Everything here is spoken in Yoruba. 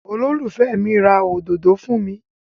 Olólùfẹ́ mi ra òdodo fún mi.